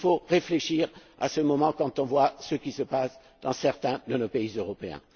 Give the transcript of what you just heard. Il nous faut réfléchir en ce moment quand on voit ce qui se passe dans certains de nos pays européens.